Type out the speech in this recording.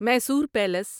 Mysore palace